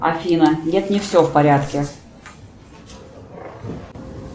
афина нет не все в порядке